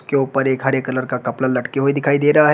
के ऊपर एक हरे कलर का कपड़ा लटके हुए दिखाई दे रहा है।